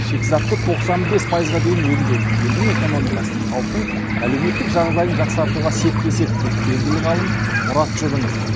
шикізатты тоқсан бес пайызға дейін өңдеу елдің экономикасын халықтың әлеуметтік жағдайын жақсартуға септеседі дейді белгілі ғалым мұрат жұрынов